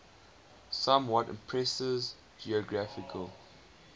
somewhat imprecise geographical